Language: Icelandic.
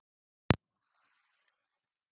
Veit það ekki Grófasti leikmaður deildarinnar?